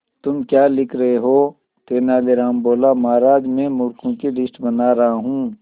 तुम क्या लिख रहे हो तेनालीराम बोला महाराज में मूर्खों की लिस्ट बना रहा हूं